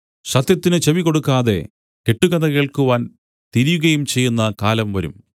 സത്യത്തിന് ചെവികൊടുക്കാതെ കെട്ടുകഥ കേൾക്കുവാൻ തിരിയുകയും ചെയ്യുന്ന കാലം വരും